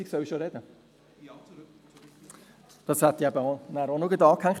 – Gut, das hätte ich am Schluss auch noch anhängen wollen.